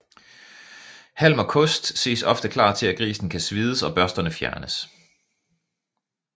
Halm og kost ses ofte klar til at grisen kan svides og børsterne fjernes